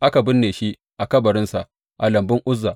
Aka binne shi a kabarinsa a lambun Uzza.